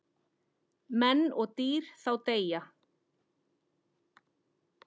Menn og dýr þá deyja.